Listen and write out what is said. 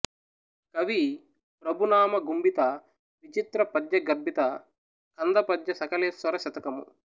కవి ప్రభునామ గుంభిత విచిత్ర పద్యగర్భిత కందపద్య సకలేశ్వర శతకము